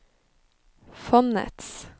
fondets